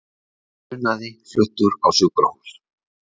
Hinn grunaði fluttur á sjúkrahús